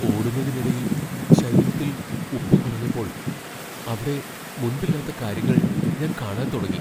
ഓടുന്നതിനിടയിൽ ശരീരത്തിൽ ഉപ്പ് കുറഞ്ഞപ്പോൾ, അവിടെ മുൻപില്ലാത്ത കാര്യങ്ങൾ ഞാൻ കാണാൻ തുടങ്ങി.